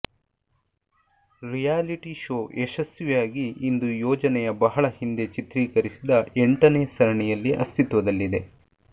reality show ಯಶಸ್ವಿಯಾಗಿ ಇಂದು ಯೋಜನೆಯ ಬಹಳ ಹಿಂದೆ ಚಿತ್ರೀಕರಿಸಿದ ಎಂಟನೇ ಸರಣಿಯಲ್ಲಿ ಅಸ್ತಿತ್ವದಲ್ಲಿದೆ